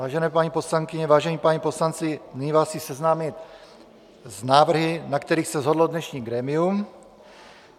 Vážené paní poslankyně, vážení páni poslanci, nyní vás chci seznámit s návrhy, na kterých se shodlo dnešní grémium.